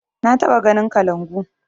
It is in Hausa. Na taɓa ganin kalangu